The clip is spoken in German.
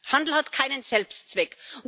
Handel hat keinen Selbstzweck.